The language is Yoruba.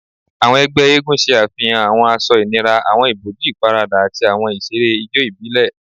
Awọn ẹgbẹ eégún ṣe afihan awọn aṣọ inira, awọn iboju iparada, ati awọn iṣere ijó ibile